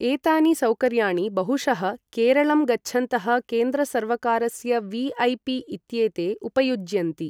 एतानि सौकर्याणि बहुशः केरलं गच्छन्तः केन्द्र सर्वकारस्य वि.ऐ.पि. इत्येते उपयुञ्जन्ति।